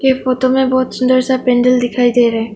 ये फोटो में बहुत सुंदर पेंडल दिखाई दे रहा है।